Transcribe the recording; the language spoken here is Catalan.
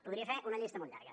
podria fer una llista molt llarga